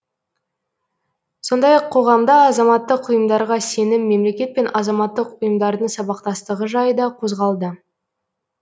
сондай ақ қоғамда азаматтық ұйымдарға сенім мемлекет пен азаматтық ұйымдардың сабақтастығы жайы да қозғалды